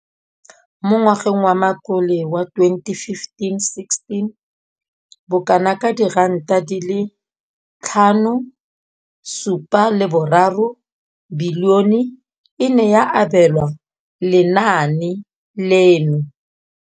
Mo ngwageng wa matlole wa 2015,16, bokanaka R5 703 bilione e ne ya abelwa lenaane leno.